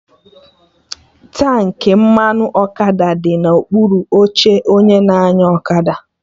Tankị mmanụ ọkada dị na okpuru oche onye na-anya ọkada